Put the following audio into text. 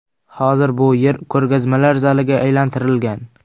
Hozir bu yer ko‘rgazmalar zaliga aylantirilgan.